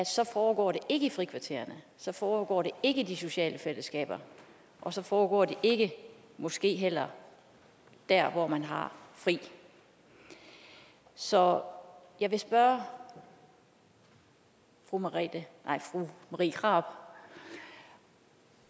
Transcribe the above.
så foregår det ikke i frikvartererne så foregår det ikke i de sociale fællesskaber og så foregår det ikke måske heller der hvor man har fri så jeg vil spørge fru marie marie krarup